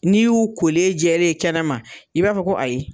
N'i y'u kolen jɛlen ye kɛnɛ ma, i b'a fɔ ko ayi